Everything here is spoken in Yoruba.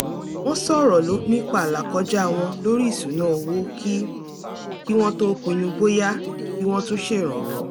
wọ́n sọ̀rọ̀ nípa àlàkọjá wọn lórí ìṣúnná owó kí kí wọ́n tó pinnu bóyá kí wọ́n tún ṣèrànwọ́